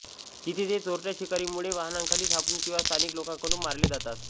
तिथे ते चोरट्या शिकारींमुळे वाहनांखाली सापडून किंवा स्थानिक लोकांकडून मारले जातात